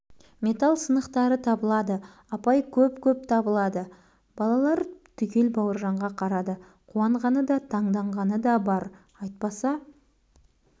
металл сынықтары табылады апай көп-көп табылады балалар түгел бауыржанға қарады қуанғаны да таңданғаны да бар айтпаса